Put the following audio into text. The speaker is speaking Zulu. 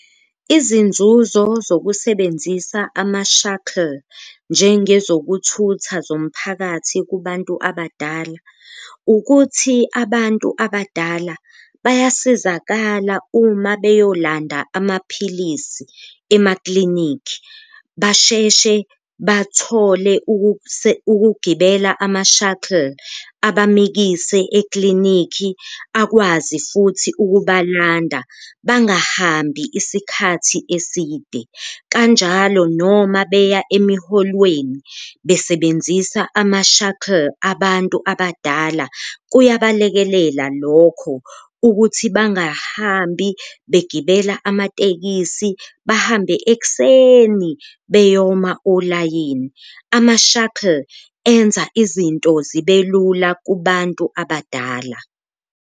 Izinzuzo zokusebenzisa ama-shuttle njengezokuthutha zomphakathi kubantu abadala, ukuthi abantu abadala bayasizakala uma beyolanda amaphilisi emaklinikhi basheshe bathole ukugibela ama-shuttle abamikise eklinikhi, akwazi futhi ukubalanda bangahambi isikhathi eside. Kanjalo noma beya emiholweni besebenzisa ama-shuttle abantu abadala kuyabalekelela lokho ukuthi bangahambi begibela amatekisi, bahambe ekuseni beyoma olayini. Ama-shuttle enza izinto zibe lula kubantu abadala.